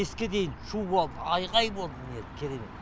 беске дейін шу болды айғай болды міне керемет